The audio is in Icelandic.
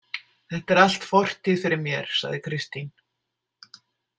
Þetta er allt fortíð fyrir mér, sagði Kristín.